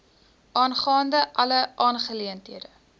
aangaande alle aangeleenthede